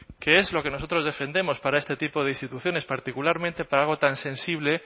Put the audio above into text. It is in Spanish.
que es lo que nosotros defendemos para este tipo de instituciones particularmente para algo tan sensible